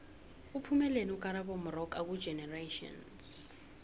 uphumeleni ukarabo moxoka kugenerations